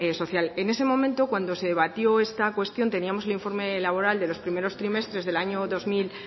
social en ese momento cuando se debatió esta cuestión teníamos el informe laboral de los primeros trimestres del año dos mil